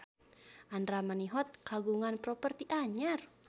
Andra Manihot kagungan properti anyar